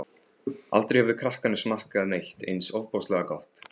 Aldrei höfðu krakkarnir smakkað neitt eins ofboðslega gott.